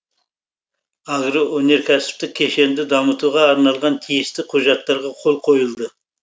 агроөнеркәсіптік кешенді дамытуға арналған тиісті құжаттарға қол қойылды